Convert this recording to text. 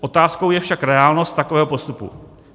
Otázkou je však reálnost takového postupu.